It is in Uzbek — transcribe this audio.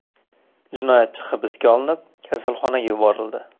Jinoyatchi hibsga olinib, kasalxonaga yuborildi.